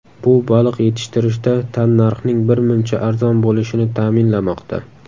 Bu baliq yetishtirishda tannarxning birmuncha arzon bo‘lishini ta’minlamoqda.